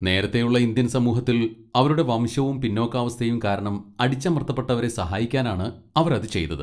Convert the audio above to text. നേരത്തെയുള്ള ഇന്ത്യൻ സമൂഹത്തിൽ അവരുടെ വംശവും പിന്നോക്കാവസ്ഥയും കാരണം അടിച്ചമർത്തപ്പെട്ടവരെ സഹായിക്കാനാണ് അവർ അത് ചെയ്തത്.